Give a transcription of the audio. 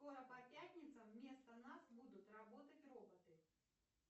скоро по пятницам вместо нас будут работать роботы